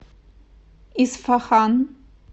исфахан